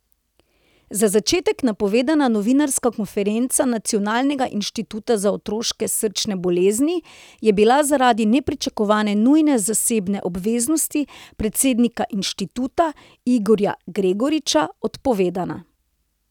Za četrtek napovedana novinarska konferenca Nacionalnega inštituta za otroške srčne bolezni je bila zaradi nepričakovane nujne zasebne obveznosti predsednika inštituta, Igorja Gregoriča, odpovedana.